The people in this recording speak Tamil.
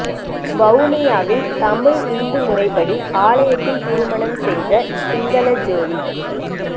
வவுனியாவில் தமிழ் இந்து முறைப்படி ஆலயத்தில் திருமணம் செய்த சிங்கள ஜோடி